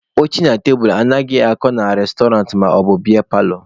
Oche na tebulu anaghịkwa akọ na restọrantị maọbụ biya paalọ.